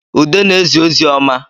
Ude na-ezi ozi ọma